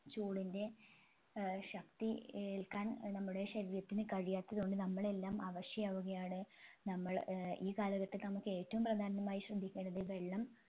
ചൂടിൻെറ ഏർ ശക്തി ഏൽക്കാൻ നമ്മുടെ ശരീരത്തിന് കഴിയാത്തത്ത് കൊണ്ട് നമ്മളെല്ലാം അവശയാവുകയാണ് നമ്മൾ ഏർ ഈ കാലഘട്ടത്തിൽ നമ്മുക്ക് ഏറ്റവും പ്രധാനമായി ശ്രദ്ധിക്കേണ്ടത് വെള്ളം